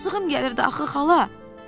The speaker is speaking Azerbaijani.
Yazığım gəlirdi axı xala.